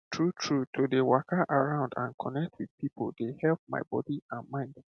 true true to dey waka around and connect with people dey help my body and mind